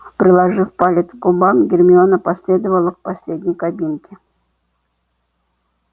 приложив палец к губам гермиона последовала к последней кабинке